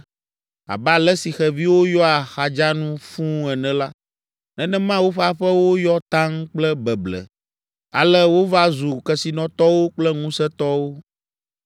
Abe ale si xeviwo yɔa xadzanu fũu ene la, nenema woƒe aƒewo yɔ taŋ kple beble. Ale wova zu kesinɔtɔwo kple ŋusẽtɔwo,